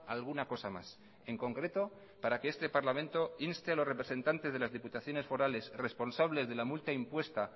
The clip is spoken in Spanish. alguna cosa más en concreto para que este parlamento inste a los representantes de las diputaciones forales responsables de la multa impuesta